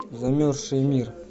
замерзший мир